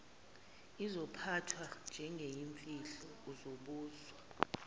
izophathwa njengeyimfihlo uzobuzwa